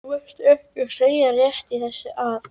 Varstu ekki að segja rétt í þessu að?